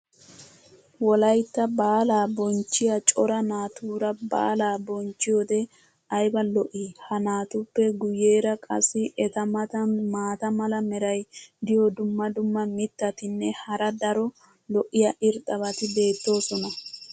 wolaytta baalaa bonchchiya cora naatuura baalaa bonchchiyoode ayba lo'ii? ha naatuppe guyeera qassi eta matan maata mala meray diyo dumma dumma mitatinne hara daro lo'iya irxxabati beetoosona.